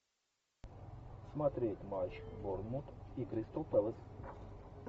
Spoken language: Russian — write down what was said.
смотреть матч борнмут и кристал пэлас